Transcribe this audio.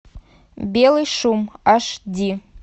белый шум аш ди